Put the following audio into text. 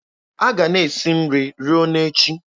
A ga-ana esi nri ruo na echi.